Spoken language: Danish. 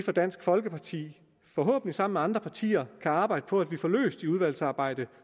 dansk folkeparti forhåbentlig sammen med andre partier kan arbejde på at få løst under udvalgsarbejdet